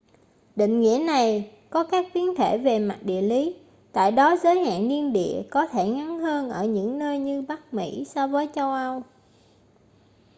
định nghĩa này có các biến thể về mặt địa lý tại đó giới hạn niên đại có thể ngắn hơn ở những nơi như bắc mỹ so với châu âu